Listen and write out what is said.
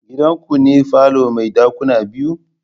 Gidanku ne falo mai dakuna biyu?